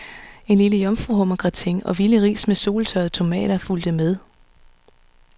En lille jomfruhummergratin og vilde ris med soltørrede tomater fulgte med.